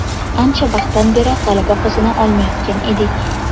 Ancha vaqtdan beri g‘alaba qozona olmayotgan edik.